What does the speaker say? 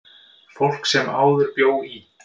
Fólk sem áður bjó í